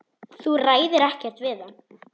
Þú ræður ekkert við hann.